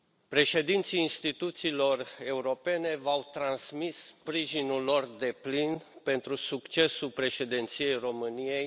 Președinții instituțiilor europene v au transmis sprijinul lor deplin pentru succesul Președinției României.